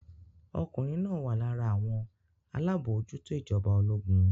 Ọkùnrin náà wà lára àwọn alábòójútó ìjọba ológun.